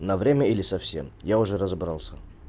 на время или совсем я уже разобрался